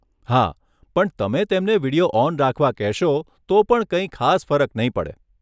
હા પણ તમે તેમને વિડીયો ઑન રાખવા કહેશો તો પણ કંઈ ખાસ ફરક નહીં પડે.